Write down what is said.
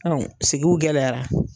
Anw sigiw gɛlɛyara